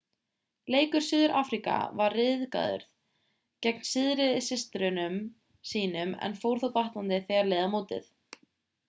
leikur suður-afríka var ryðgaður gegn syðri systrum sínum en fór þó batnandi þegar leið á mótið